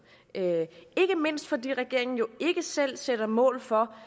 ikke mindst fordi regeringen jo ikke selv sætter mål for